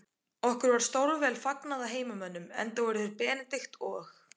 Okkur var stórvel fagnað af heimamönnum, enda voru Benedikt og